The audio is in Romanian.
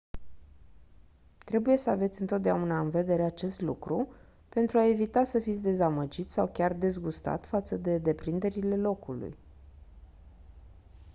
trebuie să aveți întotdeauna în vedere acest lucru pentru a evita să fiți dezamăgit sau chiar dezgustat față de deprinderile locului